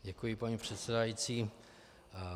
Děkuji, paní předsedající.